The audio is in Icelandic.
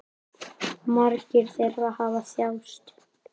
Margir þeirra hafa þjáðst.